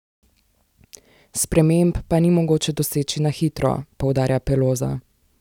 Sprememb pa ni mogoče doseči na hitro, poudarja Peloza.